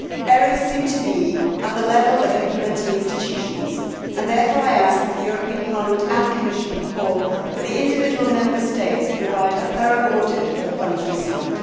Errors seem to be at the level of implementing institutions, and therefore I ask that the European Parliament and Commission call for the individual Member States to provide a thorough audit for the funds received.